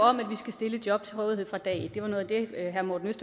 om at vi skal stille job til rådighed fra dag et det var noget af det herre morten